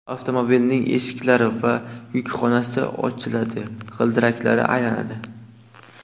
Avtomobilning eshiklari va yukxonasi ochiladi, g‘ildiraklari aylanadi.